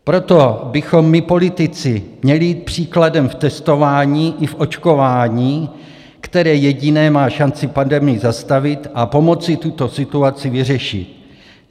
Proto bychom my politici měli jít příkladem v testování i v očkování, které jediné má šanci pandemii zastavit a pomoci tuto situaci vyřešit.